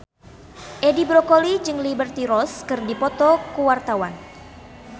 Edi Brokoli jeung Liberty Ross keur dipoto ku wartawan